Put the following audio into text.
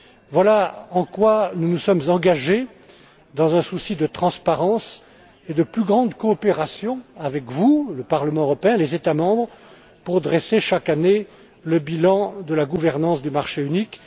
Voilà en quoi nous nous sommes engagés, dans un souci de transparence et de plus grande coopération avec vous, le Parlement européen, les États membres, pour dresser chaque année le bilan de la gouvernance du marché unique.